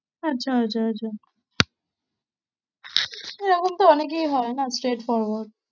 আচ্ছা, আচ্ছা, আচ্ছা এরকম তো অনেকেই হয় না straight forward